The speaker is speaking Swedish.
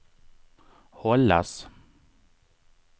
hållas